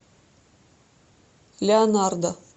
леонардо